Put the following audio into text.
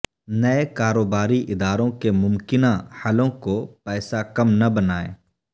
نئے کاروباری اداروں کے ممکنہ حلوں کو پیسہ کم نہ بنائیں